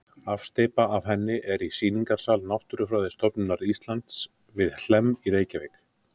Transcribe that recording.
Afsteypa af henni er í sýningarsal Náttúrufræðistofnunar Íslands við Hlemm í Reykjavík.